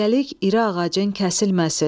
Kölgəlik iri ağacın kəsilməsin.